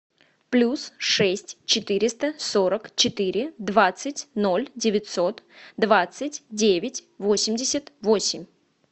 плюс шесть четыреста сорок четыре двадцать ноль девятьсот двадцать девять восемьдесят восемь